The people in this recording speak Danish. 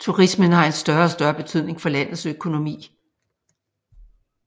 Turismen har en større og større betydning for landets økonomi